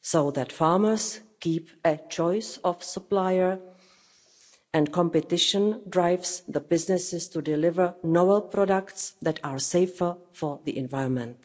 so that farmers keep a choice of supplier, and competition drives the businesses to deliver novel products that are safer for the environment.